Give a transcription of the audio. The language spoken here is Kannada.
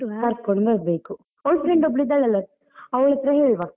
ಕರ್ಕೊಂಡು ಬರ್ಬೇಕು ಅವಳ friend ಒಬ್ಳು ಇದ್ದಾಳಲ್ಲ ಅವಳತ್ರ ಹೇಳುವ.